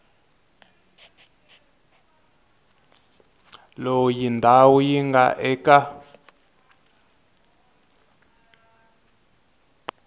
loyi ndhawu yi nga eka